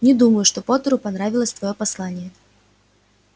не думаю что поттеру понравилось твоё послание